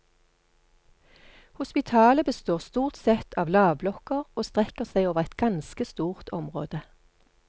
Hospitalet består stort sett av lavblokker, og strekker seg over et ganske stort område.